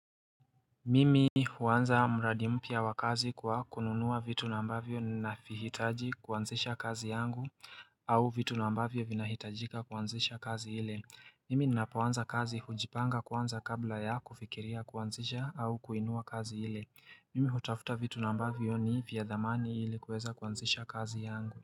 Mimi huanza mradi mpya wa kazi kwa kununua vitu na ambavyo ninavihitaji kuanzisha kazi yangu au vitu na ambavyo vina hitajika kuanzisha kazi hile Mimi ninapoanza kazi hujipanga kwanza kabla ya kufikiria kuanzisha au kuinua kazi ile Mimi hutafuta vitu na ambavyo ni vya dhamani ili kuweza kuanzisha kazi yangu.